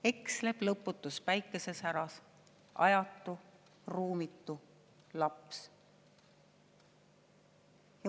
/ Eksleb lõputus päikesesäras / ajatu, ruumitu laps.